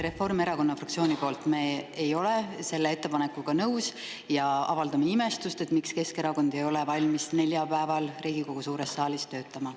Reformierakonna fraktsioon ei ole selle ettepanekuga nõus ja me avaldame imestust, miks Keskerakond ei ole valmis neljapäeval Riigikogu suures saalis töötama.